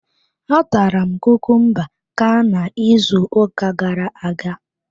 A tara m kukumba ka na ịzụ ụka gara-aga.